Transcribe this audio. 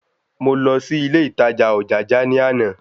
Mo lọ sí ilé ìtajà Ojaja ní àná